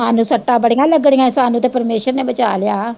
ਹਾਨੂੰ ਸੱਟਾਂ ਬੜੀਆ ਲੱਗਣੀਆ ਹੀ ਸਾਨੂੰ ਤਾਂ ਪਰਮੇਸ਼ਵਰ ਨੇ ਬਚਾ ਲਿਆ।